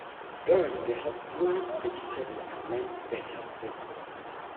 girls dey help plant vegetable and learn better spacing.